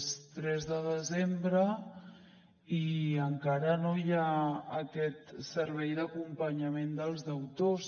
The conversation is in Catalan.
és tres de desembre i encara no hi ha aquest servei d’acompanyament dels deutors